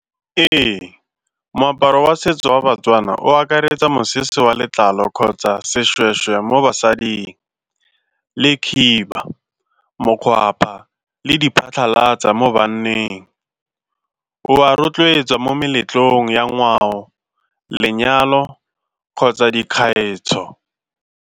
Ee, moaparo wa setso wa baTswana o akaretsa mosese wa letlalo kgotsa seshweshwe mo basading le khiba, mokgwapa le di phatlhalatso mo banneng o ba rotloetsa mo meletlong ya ngwao, lenyalo kgotsa dikgaetsho.